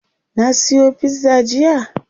Na siyo pizza jiya?